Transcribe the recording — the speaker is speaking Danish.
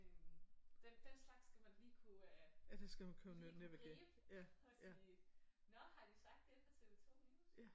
Øh den den slags skal man lige kunne øh det lige kunne gribe og sige nå har de sagt det på TV2 News?